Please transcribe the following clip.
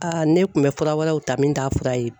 Aa ne kun bɛ fura wɛrɛw ta min t'a fura ye.